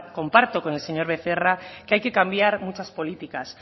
comparto con el señor becerra que hay que cambiar muchas políticas